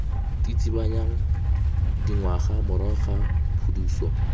tsitsibanyang dingwaga morago ga phuduso